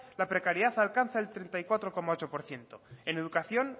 la precariedad alcanza el treinta y cuatro coma ocho por ciento en educación